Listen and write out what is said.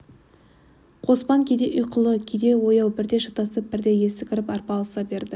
қоспан кейде ұйқылы кейде ояу бірде шатасып бірде есі кіріп арпалыса берді